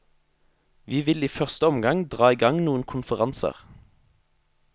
Vi vil i første omgang dra i gang noen konferanser.